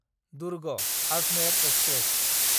Durg Ajmer express